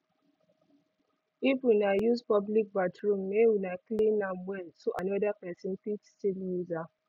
if una use public bathroom make una clean am well so another pesin fit still use am